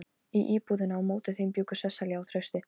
Í íbúðinni á móti þeim bjuggu Sesselía og Trausti.